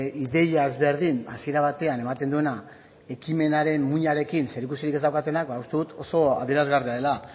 ideia ezberdin hasiera batean ematen duena ekimenaren muinarekin zerikusirik ez daukatenak ba uste dut oso adierazgarria dela